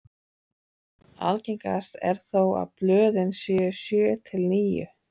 Algengast er þó að blöðin séu sjö til níu.